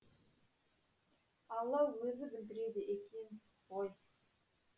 алла өзі білдіреді екен ғой